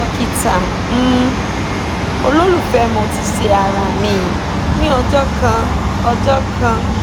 dokita um ololufẹ mo ti ṣe ara mi ni ọjọ kan ọjọ kan